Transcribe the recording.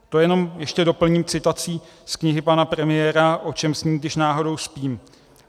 To jenom ještě doplním citací z knihy pana premiéra O čem sním, když náhodou spím.